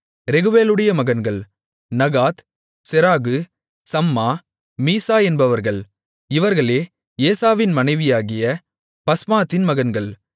ரெகுவேலுடைய மகன்கள் Nahath Zerah Shammah Mizzah என்பவர்கள் இவர்களே ஏசாவின் மனைவியாகிய பஸ்மாத்தின் மகன்கள்